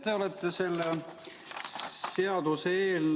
Te olete selles seaduseelnõus ...